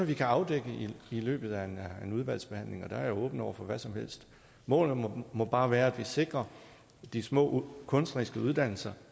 vi kan afdække i løbet af en udvalgsbehandling og der er jeg åben over for hvad som helst målet må må bare være at vi sikrer de små kunstneriske uddannelser